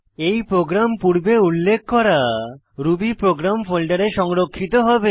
এই প্রোগ্রাম পূর্বে উল্লেখ করা রুবি প্রোগ্রাম ফোল্ডারে সংরক্ষিত হবে